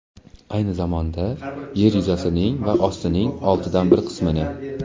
ayni zamonda Yer yuzasining va ostining oltidan bir qismini.